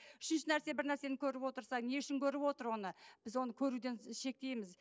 үшінші нәрсе бір нәрсені көріп отырса не үшін көріп отыр оны біз оны көруден шектейміз